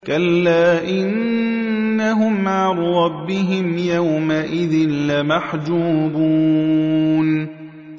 كَلَّا إِنَّهُمْ عَن رَّبِّهِمْ يَوْمَئِذٍ لَّمَحْجُوبُونَ